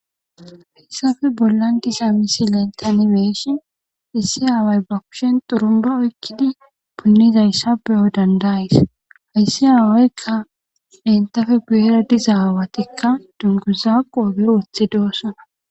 Haysafe bollan diza misilen tani be'ishin issi haaway ba kushen xurumba oykkidi punnizayssa beyo dandays hayssi haawaykka lentafe guyera diza aawatikka dunguzaa qoobe wothi doossana